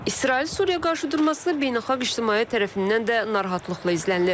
İsrail-Suriya qarşıdurması beynəlxalq ictimaiyyət tərəfindən də narahatlıqla izlənilir.